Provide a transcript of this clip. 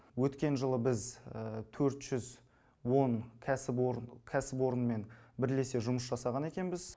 өткен жылы біз төрт жүз он кәсіпорынмен бірлесе жұмыс жасаған екенбіз